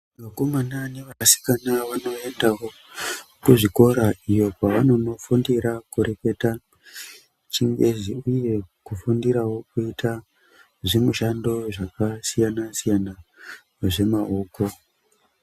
vakomana nevasikana vanoendawo kuzvikora iyo kwavanonofundira kureketa chingezi uye kufundirawo kuita zvimushando zvakasiyana siyana zvemaoko .